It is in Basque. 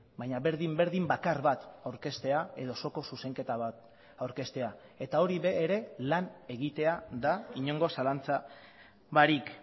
baina berdin berdin bakar bat aurkeztea edo osoko zuzenketa bat aurkeztea eta hori ere lan egitea da inongo zalantza barik